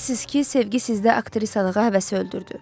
Deyirsiz ki, sevgi sizdə aktrisalığa həvəsi öldürdü.